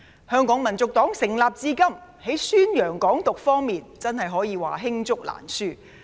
香港民族黨成立至今，在宣揚"港獨"方面的作為，真可謂罄竹難書。